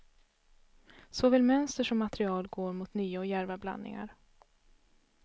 Såväl mönster som material går mot nya och djärva blandningar.